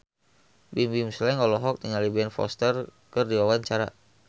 Bimbim Slank olohok ningali Ben Foster keur diwawancara